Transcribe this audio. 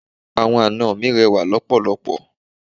Àwọn ana mi rẹwà lọpọlọpọ.